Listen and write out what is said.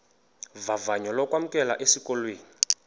vavanyo lokwamkelwa esikolweni